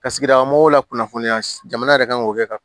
Ka sigi mɔgɔw la kunnafoniya jamana yɛrɛ kan k'o kɛ ka